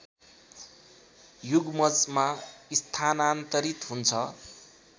युग्मजमा स्थानान्तरित हुन्छ